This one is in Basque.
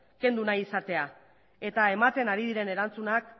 kendu nahi izatea eta ematen ari diren erantzunak